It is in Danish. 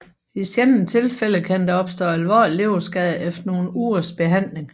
I sjældne tilfælde kan der opstå alvorlig leverskade efter nogle ugers behandling